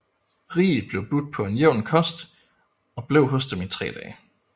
Rig blev budt på en jævn kost og blev hos dem i tre dage